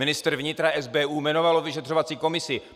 Ministr vnitra, SBU jmenovalo vyšetřovací komisi.